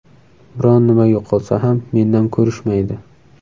Biron nima yo‘qolsa ham mendan ko‘rishmaydi.